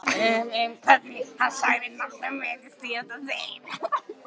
Hvernig hann sagði nafnið mitt í síðasta sinn.